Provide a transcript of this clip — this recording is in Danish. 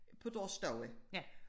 På deres stue